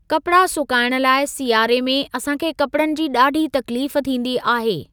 कपिड़ा सुकाइण लाइ सियारे में असांखे कपिड़नि जी ॾाढी तकलीफ़ थींदी आहे।